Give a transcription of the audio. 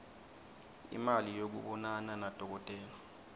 imali yekubonana nadokotela